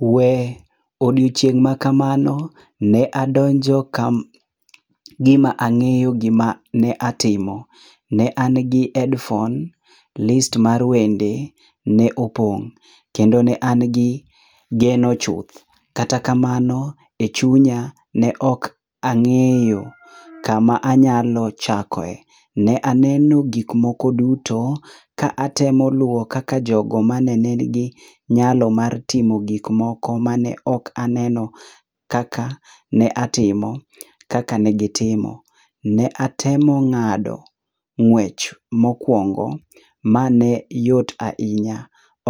We odieching ma kamano ne adonjo ka gi ma na ng'eyo gi ma timo ne an gi headphone, list mar wende ne opong ne na gi geno chuth kata kamano chunya ne ok ang'eyo ka ma anyalo chokoe .Ne aneno gik moko duto ka atemo luwo kaka jo go ma ne ni gi nyalo mar timo gik moko ma ne oka naneno ka atimo kaka ne gi timo ne atemo ng'adi ngwech mo okuongo ma ne yot ahinya